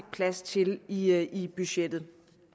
plads til i i budgettet